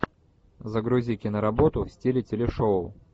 загрузи киноработу в стиле телешоу